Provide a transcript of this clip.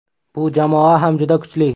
Bu jamoa ham juda kuchli.